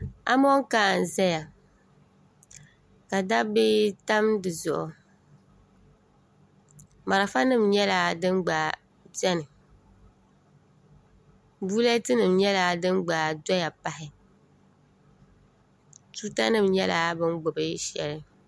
Amonkaa n-zaya ka dabbi tam di zuɣu malifa nima nyɛla din gba be ni buletinima nyɛla din gba doya pahi tuuta nim nyɛla bɛ ni gbubi shɛli